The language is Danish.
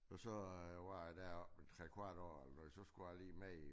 Og så var jeg deroppe i 3 kvart år eller noget så skulle jeg lige med i